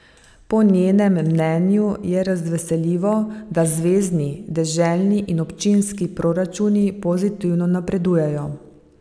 Po njenem mnenju je razveseljivo, da zvezni, deželni in občinski proračuni pozitivno napredujejo.